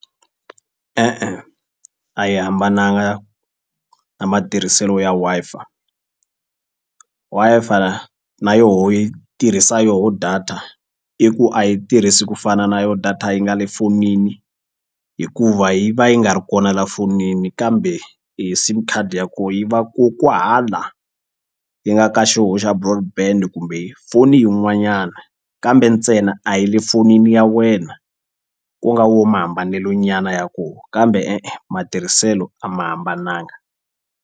E-e a yi hambananga na matirhiselo ya Wi-Fi, Wi-Fi na yoho yi tirhisa yoho data i ku a yi tirhisi ku fana na yo data yi nga le fonini hikuva yi va yi nga ri kona la fonini kambe e sim card ya ko yi va ko kwahala yi nga ka xoho xa kumbe foni yin'wanyana kambe ntsena a yi le fonini ya wena ku nga wo mahambanelonyana ya ko kambe e-e matirhiselo a ma hambananga.